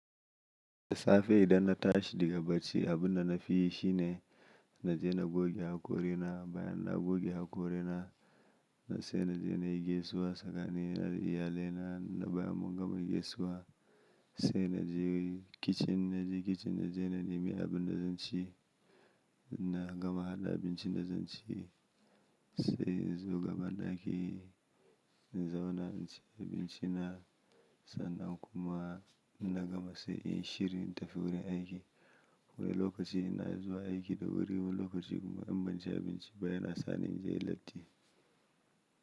Da safe idan na tashi daga bacci, abun da na fi yi shi ne na je na goge hakorina, bayan na goge hakorina na sai na je na yi gaisuwa sakani na da iyalaina na bayan mun gama gaisuwa- sai na je kicin, inna je kicin na je na nimi abin da zan ci na gama haɗa abincin da zan ci- sai in zo gaban daki in zauna in ci abinci na sannan kuma inna gama sai in yi shiri in tafi wurin aiki. Wani lokaci ina zuwa aiki da wuri wani lokaci kuma in ban ci abinci ba yana sa ni in je latti.